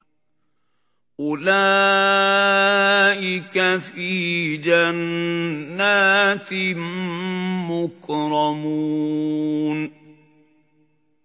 أُولَٰئِكَ فِي جَنَّاتٍ مُّكْرَمُونَ